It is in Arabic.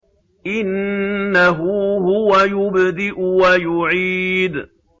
إِنَّهُ هُوَ يُبْدِئُ وَيُعِيدُ